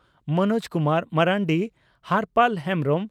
Manoj Kumar Marandi Horpal Hembrom